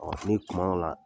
Ɔ ni tuma dɔw la